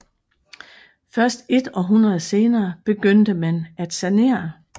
Først et århundrede senere begyndte man at sanere